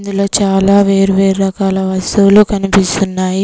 ఇలా చాలా వేరు వేరు రకాల వస్తువులు కనిపిస్తున్నాయి.